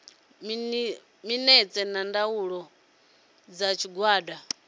minetse na ndaela dza tshigwada